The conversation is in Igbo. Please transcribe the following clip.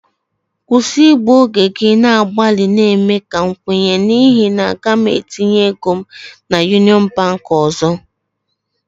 Stop waisting your time trying to convince me for I will never bank with Union Bank again